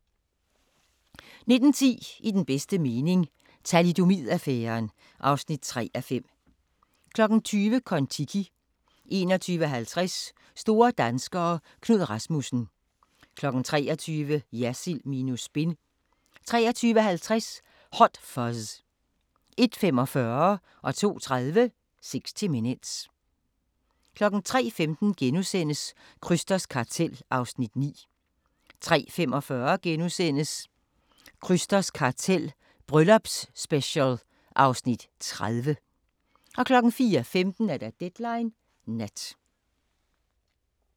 19:10: I den bedste mening – Thalidomid-affæren (3:5) 20:00: Kon-Tiki 21:50: Store danskere – Knud Rasmussen 23:00: Jersild minus spin 23:50: Hot Fuzz 01:45: 60 Minutes 02:30: 60 Minutes 03:15: Krysters Kartel (Afs. 9)* 03:45: Krysters kartel - Bryllupsspecial (Afs. 30)* 04:15: Deadline Nat